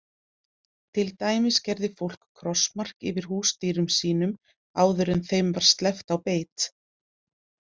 Til dæmis gerði fólk krossmark yfir húsdýrum sínum áður en þeim var sleppt á beit.